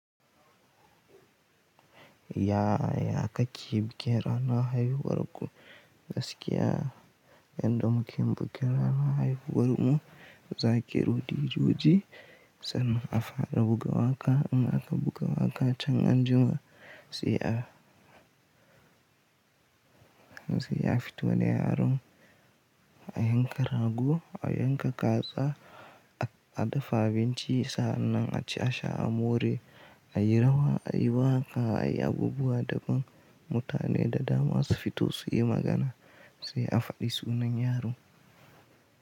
Yaaya kake bikin ranan haihuwar ku gaskiya yanda muke yin bukin ranar haihuwar mu za a kirowo dijoji sannan a fara buga waka in ak buga waka aka buga waqaa chan anjima sai a se a fito da yaron a yanka rago a yanka kaza a dafa abinci saannan aci asha amore airawa aiwaka ayi abubuwa daban mutane dadama su fito suyi magana se afadi sunan yaro.